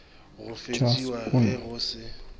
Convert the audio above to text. go feksiwa ge go se